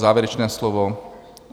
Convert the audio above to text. Závěrečné slovo?